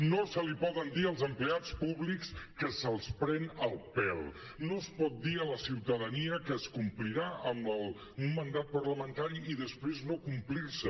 no se’ls pot dir als empleats públics que se’ls pren el pèl no es pot dir a la ciutadania que es complirà amb un mandat parlamentari i després no complir lo